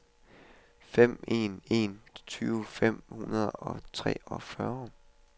fem en en en tyve fem hundrede og treogfyrre